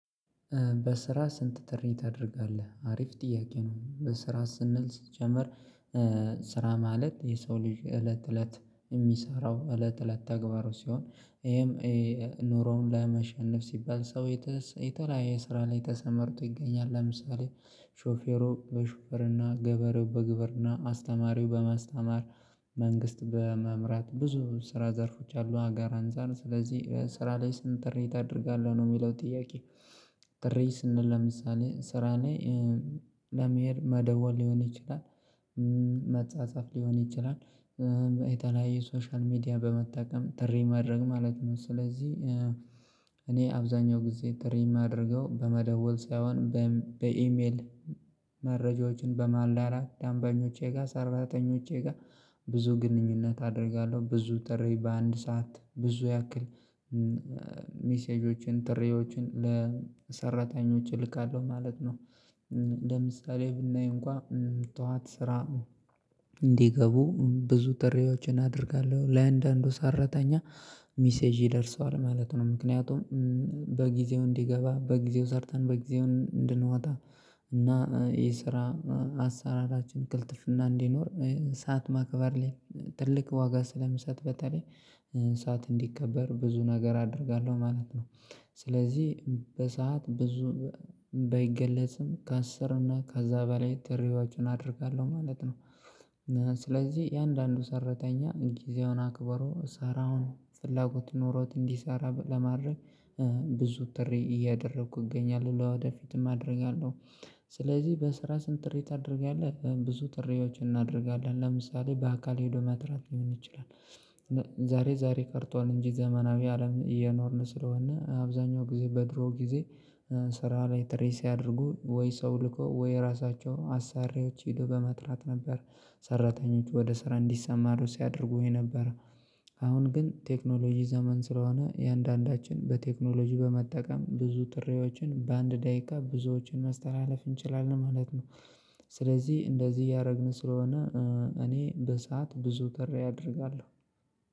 በስራ ስንት ጥሪ ታደርጋለህ? አሪፍ ጥያቄ ነው። በስራ ስንል ሲጀመር ስራ ማለት የሰው ልጅ እለት እለት የሚሰራው እለት እለት ተግባሩ ሲሆን ይሄም ኑሮውን ለማሸነፍ ሲባል ሰው የተለያየ ስራ ላይ ተሰማርቶ ይገኛል። ለምሳሌ ሾፌሩ በሹፍርና፣ ገበሬው በግብርና፣ አስተማሪው በማስተማር፣ መንግስት በመምራት ብዙ ስራ ዘርፎች አሉ አገር አንፃር፤ ስለዚህ ስራ ላይ ስንት ጥሪ ታደርጋለህ ነው የሚለው ጥያቄ ጥሪ ስንል ለምሳሌ ስራ ላይ ለመሄድ መደወል ሊሆን ይችላል፤ መጻጻፍ ሊሆን ይችላል። የተለያይ ሶሻል ሚዲያ በመጠቀም ጥሪ ማድረግ ማለት ነው። ስለዚህ እኔ አብዛኛው ጊዜ ጥሪም አድርገው በመደወል ሳይሆን በኢሜል መረጃዎችን በማላላክ ደንበኞቼ ጋር ሰራተኞቼ ጋር ብዙ ግንኙነት አደርጋለሁ። ብዙ ጥሪ በአንድ ሰዓት ብዙ ያክል ሜሴጆችን ጥሪዎችን ለሰራተኞች እልካለሁ ማለት ነው ለምሳሌ ብናይ እንኳን ጠዋት ስራ እንዲገቡ ብዙ ጥሪዎችን አደርጋለሁ። ለአንዳንዱ ሰራተኛ ሚሴጅ ይደርሰዋል ማለት ነው። ምክንያቱም በጊዜው እንዲገባ በጊዜው ሰርተን በጊዜው እንድንዋጣ እና የስራ አሰራራችን ቅልጥፍና እንዲኖር ሰዓት ማክበር ላይ ትልቅ ዋጋ ስለምሰጥ በተለይ ሰዓት እንዲከበር ብዙ ነገር አደርጋለሁ ማለት ነው። ስለዚህ በሰአት ብዙ ባይገለጽም ከአስር እና ከዛ በላይ ላይ ጥሪዎችን አደርጋለሁ ማለት ነው። ስለዚህ የአንዳንዱ ሰራተኛ ጊዜውን አክበሮ ሰራውን ፍላጎት ኖሮት እንዲሰራ ለማድረግ ብዙ ጥሪ እያደረኩ እገኛለሁ። ወደፊትም አደርጋለሁ። ስለዚህ በስራ ስንት ጥሪ ታደርጋለህ። ብዙ ጥሪዎችን እናደርጋለን። ለምሳሌ በአካል ሄዶ መጥራት ሊሆን ይችላል ዛሬ ዛሬ ቀርቷል እንጂ ዘመናዊ አለም እየኖርን ስለሆነ አብዛኛው ጊዜ በድሮ ጊዜ ስራ ላይ ጥሪ ሲያደርጉ ወይ ሰው ልኮ ወይ ራሳቸው አሰሪዎች ሄዶ በመጥራት ነበር ሰራተኞች ወደ ስራ እንዲሰማሩ ሲያደርጉኝ የነበረው። አሁን ግን ቴክኖሎጂ ዘመን ስለሆነ የእያንዳንዳችን በቴክኖሎጂ በመጠቀም ብዙ ጥሪዎችን በአንድ ደቂቃ ብዙዎችን መስተላለፍ እንችላለን ማለት ነው። ስለዚህ እንደዚህ እያደረግን ስለሆነ እኔ በሰአት ብዙ ጥሪ አደርጋለሁ።